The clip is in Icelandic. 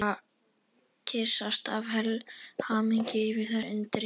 Og kyssast af hamingju yfir þessu undri.